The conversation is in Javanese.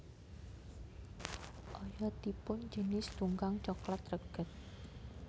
Oyotipun jinis tunggang coklat reged